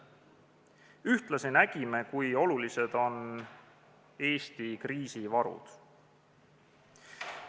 Ühtlasi nägime, kui olulised on Eesti kriisivarud.